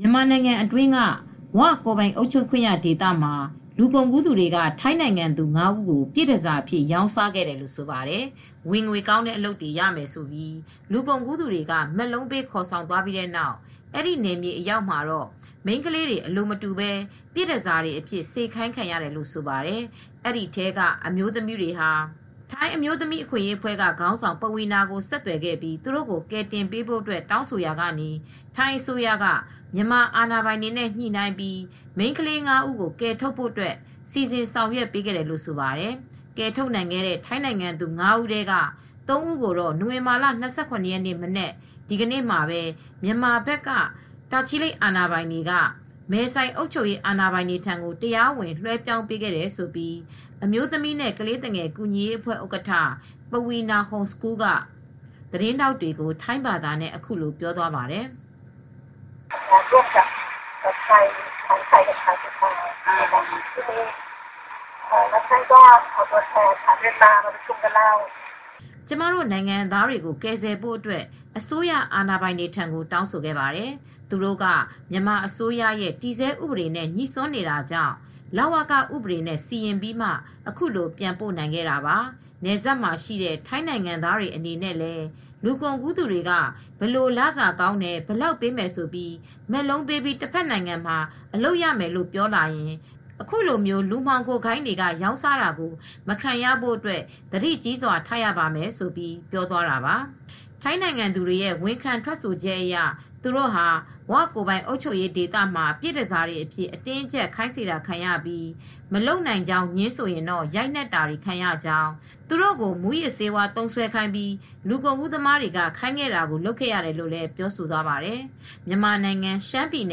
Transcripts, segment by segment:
မြန်မာနိုင်ငံအတွင်းက "ဝ" ကိုယ်ပိုင်အုပ်ချုပ်ခွင့်ရဒေသမှာ လူကုန်ကူးသူတွေက ထိုင်းနိုင်ငံသူ ၅ဦးကို ပြည့်တန်ဆာအဖြစ် ရောင်းစာခဲ့တယ်လို့ဆိုပါတယ်။ ဝင်ငွေကောင်းတဲ့အလုပ်တွေ လုပ်ရမယ်လို့ လူကုန်ကူးသူတွေက မက်လုံးပေး ခေါ်ဆောင်သွားပြီး အဲဒီနယ်မြေအရောက်မှာတော့ မိန်းခလေးတွေ အလိုမတူပဲ ပြည့်တန်ဆာတွေအဖြစ် စေခိုင်းခံရတယ်လို့ဆိုပါတယ် ။ ဒီထဲက အမျိုသမီးတွေဟာ ထိုင်းအမျိုးသမီး အခွင့်အရေးအဖွဲ့ က ခေါင်းဆောင် "ပဝီနာ" ကို ဆက်သွယ်ပြီး သူတို့ကို ကယ်တင်ပေးဖို့တောင်းဆိုခဲ့ရာက ထိုင်းအစိုးရက မြန်မာအာဏာပိုင်တွေနဲ့ ညှိနှိုင်းပြီး မိန်းခလေး ၅ ဦးကို ကယ်ထုတ်ဖို့ စီစဉ်ဆောင်ရွက် ပေးခဲ့တယ်လို့ ဆိုပါတယ်။ ကယ်ထုတ်နိုင်ခဲ့တဲ့ ထိုင်းနိုင်ငံသူ ၅ ဦးထဲက ၃ ဦးကိုတော့ နိုဝင်ဘာလ၂၇ ရက်နေ့ မနက်မှာ မြန်မာဘက် တာချီလိတ်မြို့နယ် အာဏာပိုင်တွေက မဲဆိုင် အုပ်ချုပ်ရေး အာဏာပိုင်တွေထံကို တရားဝင် လွဲှပြောင်းပေးခဲ့တယ်လို့ အမျိုးသမီးနဲ့ ကလေးသူငယ်ကူညီရေးအဖွဲ့ ဥက္ကဌ "ပဝီနာ ဟုန်စကူးလ် " က သတင်းထောက်တွေကို ထိုင်းဘာသာနဲ့ အခုလို ပြောသွားပါတယ်။ " ကျမတို့ နိုင်ငံသားတွေကို ကယ်ဆယ်ဖို့ အတွက် အစိုးရ အာဏာပိုင်တွေထံကို တောင်းဆိုခဲ့ပါတယ် ။ သူတို့က မြန်မာအစိုးရရဲ့ တည်ဆဲဥပဒေနဲ့ ငြိစွန်းနေတာကြောင့် လဝက ဥပဒေနဲ့ စီရင်ပြီးမှ အခုလိုပြန်ပို့နိုင်ခဲ့တာပါ" နယ်စပ်မှာရှိတဲ့ ထိုင်းနိုင်ငံသားတွေအနေနဲ့ လူကုန်ကူးသူတွေက ဘယ်လို လစာကောင်းတယ်၊ ဘယ်လောက်ပေးမယ်ဆိုပြီး မက်လုံးပေးပြီး တဘက်နိုင်ငံမှာ အလုပ်ရမယ်လို့ ပြောလာရင် အခုလို လူမှောင်ခိုဂိုဏ်းတွေက ရောင်းစားတာကို မခံရဖို့ သတိကြီးစွ ာထားရပါမယ်ဆိုပြီး ပြောသွားတာပါ ။ ထိုင်းနိုင်ငံသူတွေရဲ့ ဝန်ခံ ထွက်ဆိုချက်အရ သူတို့ဟာ " ဝ" ကိုယ်ပိုင်အုပ်ချုပ်ခွင့်ရဒေသမှာ ပြည့်တန်ဆာအဖြစ် အတင်းအကြပ် ခိုင်းစေတာခံရပြီး မလုပ်နိုင်ကြောင်း ငြင်းဆိုရင် ရိုက်နှက်တာတွေခံရကြောင်း သူတို့ကို မူးယစ်ဆေးဝါးသုံးစွဲခိုင်းပြီး လူကုန်ကူးသမားတွေ ခိုင်းတာကို လုပ်ခဲ့ရတယ်လို့ ပြောဆိုသွားပါတယ်။ မြန်မာနိုင်ငံ ရှမ်းပြည်န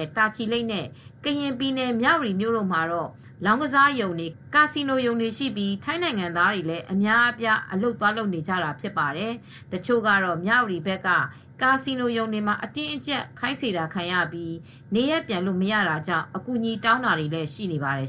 ယ် တာချီလိတ်မြို့ နဲ့ ကရင်ပြည်နယ် မြဝတီမြို့ တို့မှာတော့ လောင်းကစားရုံတွေ ကာစီနိုရုံတွေရှိပြီး ထိုင်းနိုင်ငံသားတွေ လည်း အများအပြား အလုပ်သွားလုပ်နေကြတာဖြစ်ပါတယ် ။ တချို့ကတော့ မြဝတီဘက်က ကာစီနိုရုံတွေမှာ အတင်းအကြပ် စေခိုင်းခံရနေရပြီး နေရပ်ပြန်လို့ မရတာကြောင့် အကူညီတောင်းတာတွေလည်း ရှိနေပါတယ်